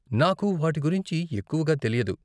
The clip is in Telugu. నాకు వాటి గురించి ఎక్కువగా తెలియదు.